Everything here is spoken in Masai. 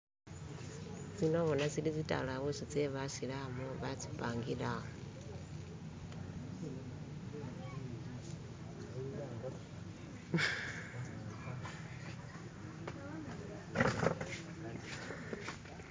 se nabona tsili tsitalabusi tsebasilamu batsi pangile awo